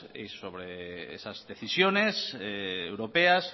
y sobre esas decisiones europeas